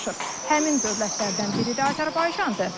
Həmin dövlətlərdən biri də Azərbaycandır.